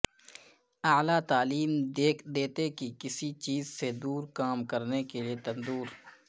اعلی دیتے کی کسی چیز سے دور کام کرنے کے لئے تندور